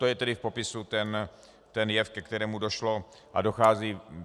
To je tedy v popisu ten jev, ke kterému došlo a dochází.